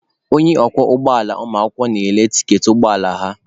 Onye ọkwọ ụgbọala ụmụakwụkwọ na-ele tiketi ụgbọ ala ha.